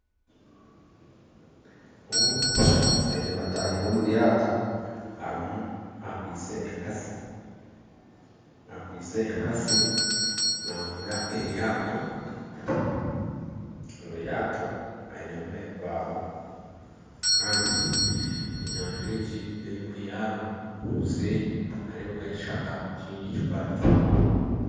Ogu omushaija aine bataahi be omuryato akwaitse enkasi, akweitse enkasi navuga eryato, omuryato ainemu ebibaho Kandi enyanza egi eyarimu obuseeri nihareebekayo ekishaka kyingi kikwataine